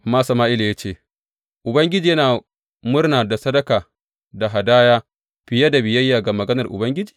Amma Sama’ila ya ce, Ubangiji yana murna da sadaka da hadaya fiye da biyayya ga maganar Ubangiji?